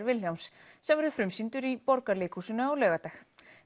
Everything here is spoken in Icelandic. Vilhjálms sem verður frumsýndur í Borgarleikhúsinu á laugardag